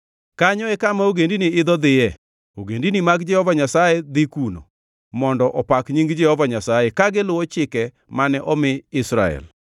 Kanyo e kama ogendini idho dhiye, ogendini mag Jehova Nyasaye dhi kuno, mondo opak nying Jehova Nyasaye ka giluwo chike mane omi Israel.